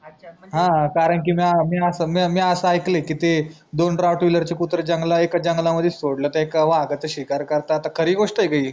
हा करांकि मी म्या म्या अस ऐकल आहे की ते दोन rottweiler चे कुत्रे जंगला एक जंगला मध्ये सोडल तर एक वाघाचा शिकार करतात खरी घोस्ट आहे का ही